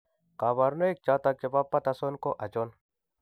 Kabarunaik choton chebo Patterson ko achon ?